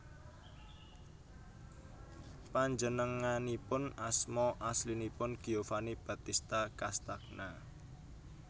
Panjenenganipun asma aslinipun Giovanni Battista Castagna